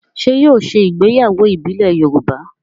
Ṣé yóò ṣe ìgbéyàwó ìbílẹ̀ Yorùbá?